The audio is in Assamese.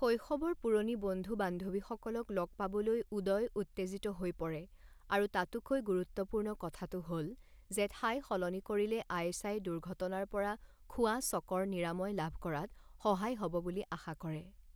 শৈশৱৰ পুৰণি বন্ধু বান্ধৱীসকলক লগ পাবলৈ উদয় উত্তেজিত হৈ পৰে আৰু তাতোকৈ গুৰুত্বপূৰ্ণ কথাটো হ'ল যে ঠাই সলনি কৰিলে আয়েশাই দুৰ্ঘটনাৰ পৰা খোৱা চঁকৰ নিৰাময় লাভ কৰাত সহায় হ'ব বুলি আশা কৰে।